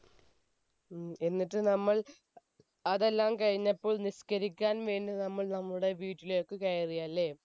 ഉം എന്നിട്ട് നമ്മൾ അതെല്ലാം കഴിഞ്ഞപ്പോൾ നിസ്കരിക്കാൻ വേണ്ടി നമ്മൾ നമ്മുടെ വീട്ടിലേക്ക് കയറിയല്ലേ